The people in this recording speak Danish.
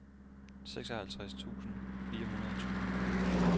seksoghalvtreds tusind fire hundrede og tyve